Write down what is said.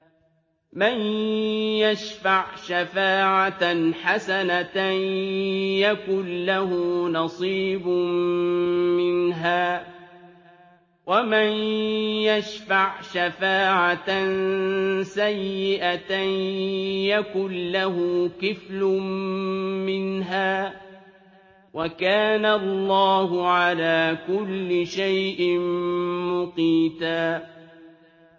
مَّن يَشْفَعْ شَفَاعَةً حَسَنَةً يَكُن لَّهُ نَصِيبٌ مِّنْهَا ۖ وَمَن يَشْفَعْ شَفَاعَةً سَيِّئَةً يَكُن لَّهُ كِفْلٌ مِّنْهَا ۗ وَكَانَ اللَّهُ عَلَىٰ كُلِّ شَيْءٍ مُّقِيتًا